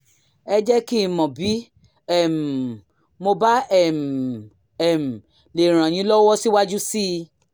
ẹ jẹ́ kí n mọ̀ bí um mo bá um um lè ràn yín lọ́wọ́ síwájú sí i